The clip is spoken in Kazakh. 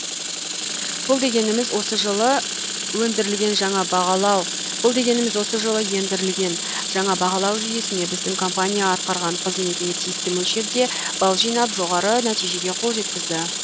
бұл дегеніміз осы жылы ендірілген жаңа бағалау жүйесіне біздің компания атқарған қызметіне тиісті мөлшерде бал жинап жоғары нәтижеге қол жеткізді